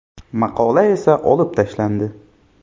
Maqola esa olib tashlandi.